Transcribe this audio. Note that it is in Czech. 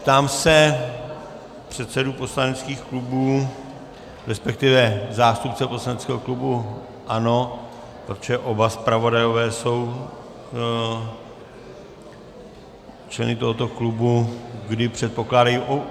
Ptám se předsedů poslaneckých klubů, respektive zástupce poslaneckého klubu ANO - protože oba zpravodajové jsou členy tohoto klubu - kdy předpokládají...